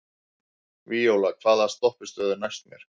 Víóla, hvaða stoppistöð er næst mér?